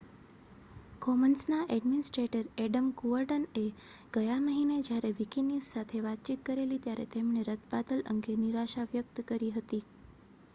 કોમન્સના administrator Adam Cuerden એ ગયા મહિને જયારે વિકિન્યૂઝ સાથે વાતચીત કરેલી ત્યારે તેમણે રદબાતલ અંગે નિરાશા વ્યક્ત કરી હતી